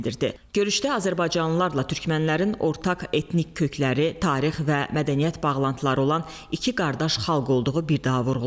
Görüşdə azərbaycanlılarla türkmənlərin ortaq etnik kökləri, tarix və mədəniyyət bağlantıları olan iki qardaş xalq olduğu bir daha vurğulandı.